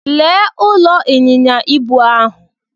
Lee ụlọ ịnyịnya ibu ahụ.